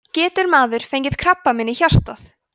getur maður fengið krabbamein í hjartað